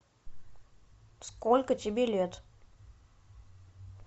сколько тебе лет